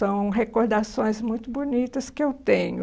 São recordações muito bonitas que eu tenho.